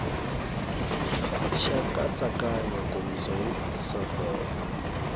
xa nkatsakanyo nkomiso wo saseka